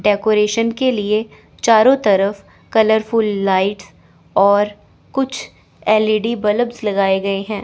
Decoration के लिए चारों तरफ कलरफूल लाइट और कुछ एल ई डी बल्ब्स लगाए गए हैं।